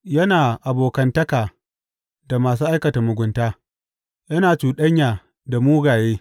Yana abokantaka da masu aikata mugunta; yana cuɗanya da mugaye.